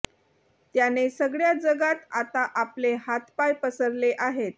त्याने सगळ्या जगात आता आपले हातपाय पसरले आहेत